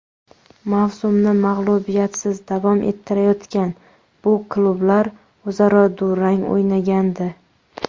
Mavsumni mag‘lubiyatsiz davom ettirayotgan bu klublar o‘zaro durang o‘ynagandi.